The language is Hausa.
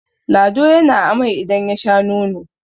lado ya na amai idan ya Sha nono!